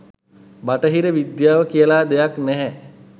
බටහිර විද්‍යාව කියල දෙයක් නැහැ